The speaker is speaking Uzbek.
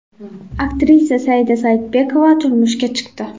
Aktrisa Saida Saidbekova turmushga chiqdi .